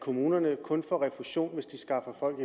at kommunerne kun skal have refusion hvis de skaffer folk